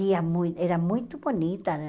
Ia mui era muito bonita.